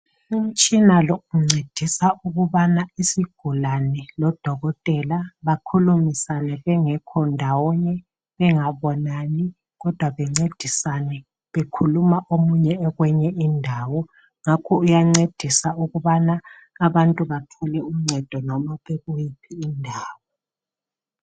Umtshina lo uncedisa ukubana isigulane lo Dokotela bakhulumisane bengekho ndawonye bengabonani kodwa bencedisane bekhuluma omunye ekweyinye indawo. Ngakho uyancedisa ukubana abantu bathole uncedo loba bekuyiphi indawo .